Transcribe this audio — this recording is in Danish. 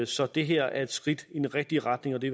så det her er et skridt i den rigtige retning og det